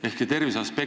Ehk see terviseaspekt ...